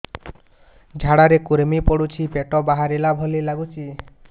ଝାଡା ରେ କୁର୍ମି ପଡୁଛି ପେଟ ବାହାରିଲା ଭଳିଆ ଲାଗୁଚି